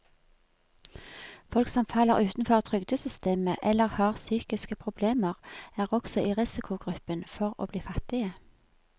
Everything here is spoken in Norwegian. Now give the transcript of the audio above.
Folk som faller utenfor trygdesystemet eller har psykiske problemer, er også i risikogruppen for å bli fattige.